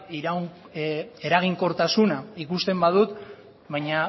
eraginkortasuna ikusten badut baina